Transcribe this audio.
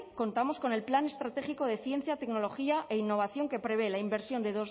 contamos con el plan estratégico de ciencia tecnología e innovación que prevé la inversión de